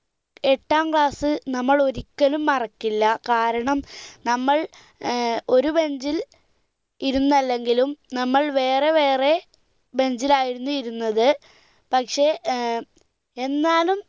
എട്ടാം class നമ്മൾ ഒരിക്കലും മറക്കില്ല കാരണം നമ്മൾ ഏർ ഒരു bench ൽ ഇരുന്നല്ലെങ്കിലും നമ്മൾ വേറെ വേറെ bench ൽ ആയിരുന്നു ഇരുന്നത് പക്ഷെ ഏർ എന്നാലും എട്ടാം class നമ്മൾ ഒരിക്കലും മറക്കില്ല കാരണം